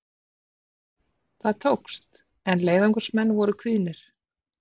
Það tókst, en leiðangursmenn voru kvíðnir.